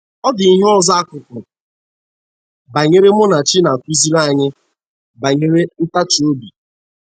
Ọ dị ihe ọzọ akụkọ banyere Munachi na - akụziri anyị banyere ntachi obi.